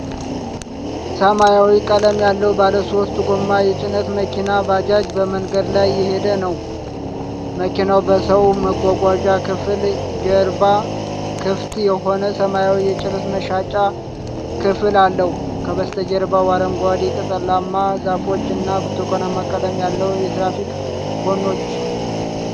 ሰማያዊ ቀለም ያለው ባለሶስት ጎማ የጭነት መኪና (ባጃጅ) በመንገድ ላይ እየሄደ ነው። መኪናው በሰው መጓጓዣ ክፍል ጀርባ ክፍት የሆነ ሰማያዊ የጭነት መጫኛ ክፍል አለው። ከበስተጀርባው አረንጓዴ ቅጠላማ ዛፎች እና ብርቱካናማ ቀለም ያላቸው የትራፊክ ኮኖች ።